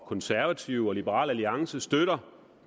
konservative og liberal alliance støtter